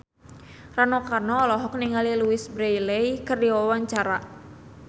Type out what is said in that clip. Rano Karno olohok ningali Louise Brealey keur diwawancara